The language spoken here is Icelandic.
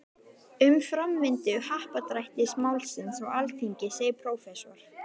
Um framvindu happdrættis-málsins á Alþingi segir prófessor